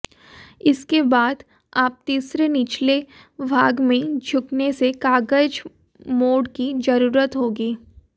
इसके बाद आप तीसरे निचले भाग में झुकने से कागज मोड़ की जरूरत होगी